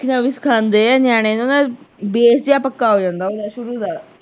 ਲਿਖਣਾ ਵੀ ਸਿਖਾਉਂਦੇ ਆ ਨਿਆਣੇ ਨੂੰ ਨਾਲ base ਜਿਹਾ ਪੱਕਾ ਹੋ ਜਾਂਦਾ ਓਹਦਾ ਸ਼ੁਰੂ ਦਾ।